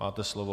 Máte slovo.